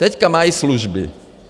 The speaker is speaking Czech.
Teď mají služby.